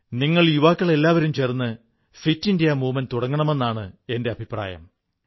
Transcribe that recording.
നിങ്ങൾ യുവാക്കൾക്കെല്ലാവർക്കും ചേർന്ന് ഫിറ്റ് ഇന്ത്യാ പ്രസ്ഥാനം തുടങ്ങാമെന്നാണ് എന്റെ അഭിപ്രായം